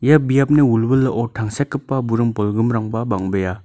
ia biapni wilwilao tangsekgipa buring bolgrimrangba bang·bea.